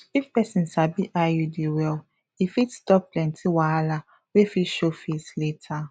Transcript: if person sabi iud well e fit stop plenty wahala wey fit show face later